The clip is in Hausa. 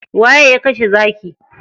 Waye ya kashe zaki?